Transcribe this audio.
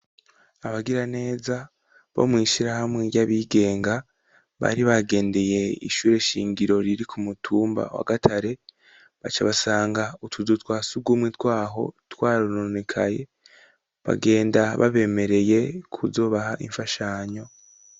Abagira neza bo mw'ishirahamwe ry'abigenga bari bagendeye ishure shingiro riri ku mutumba wa gatare baca basanga utuzu twasugumwe twaho twarunonekaye bagenda babemereye kuzobaha imfashanyo.